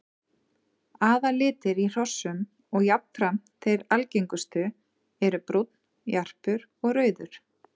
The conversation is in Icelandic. Aðallitir í hrossum og jafnframt þeir algengustu eru brúnn, jarpur og rauður.